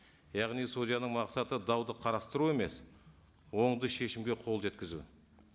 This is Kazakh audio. яғни судьяның мақсаты дауды қарастыру емес оңды шешімге қол жеткізу